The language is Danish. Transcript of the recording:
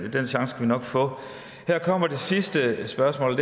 chance skal vi nok få her kommer det sidste spørgsmål